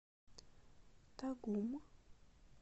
тагум